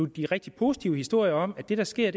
de rigtig positive historier om at det der sker